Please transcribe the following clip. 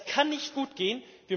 Das kann nicht gutgehen!